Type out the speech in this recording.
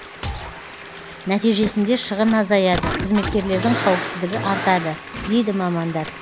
нәтижесінде шығын азаяды қызметкерлердің қауіпсіздігі артады дейді мамандар